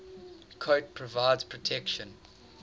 coat provides protection